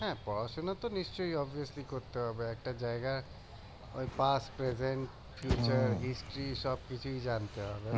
হ্যাঁ পড়াশোনা তো নিশ্চয়ই করতে হবে একটা জায়গা ওই সবকিছুই জানতে হবে